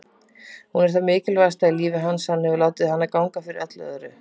Hún er það mikilvægasta í lífi hans, hann hefur látið hana ganga fyrir öllu öðru.